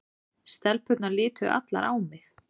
Stelpurnar litu allar á mig.